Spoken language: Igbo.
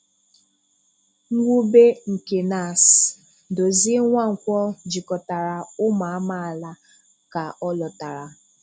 Mwube nke NASS: Dozie Nwankwọ jikọtara ụmụ amaala ka ọ lọtara.